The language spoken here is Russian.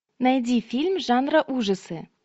найди фильм жанра ужасы